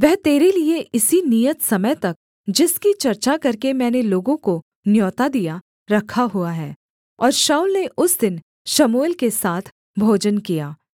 वह तेरे लिये इसी नियत समय तक जिसकी चर्चा करके मैंने लोगों को न्योता दिया रखा हुआ है शाऊल ने उस दिन शमूएल के साथ भोजन किया